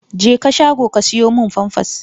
Jeka shago ka siyo min famfas!